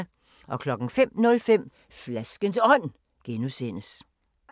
05:05: Flaskens Ånd (G)